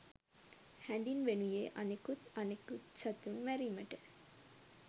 හැඳින්වෙනුයේ අනෙකුත් අනෙකුත් සතුන් මැරීමට